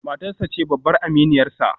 Matarsa ​​ce babbar aminiyarsa